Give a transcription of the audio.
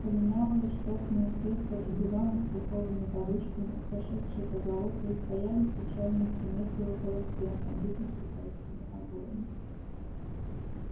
полинялые штофные кресла и диваны с пуховыми подушками с сошедшей позолотою стояли в печальной симметрии около стен обитых китайскими обоями